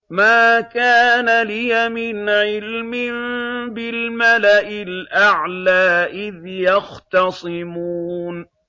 مَا كَانَ لِيَ مِنْ عِلْمٍ بِالْمَلَإِ الْأَعْلَىٰ إِذْ يَخْتَصِمُونَ